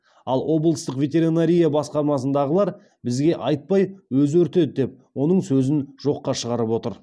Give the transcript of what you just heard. ал облыстық ветеринария басқармасындағылар бізге айтпай өзі өртеді деп оның сөзін жоққа шығарып отыр